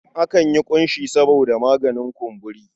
Akan yi ƙunshi saboda maganin kumburi.